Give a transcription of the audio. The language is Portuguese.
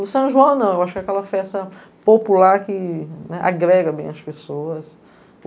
O São João não, eu acho que é aquela festa popular que agrega bem as pessoas.